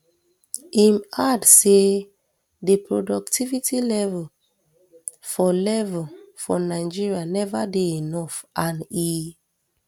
im add say di productivity level for level for nigeria neva dey enough and e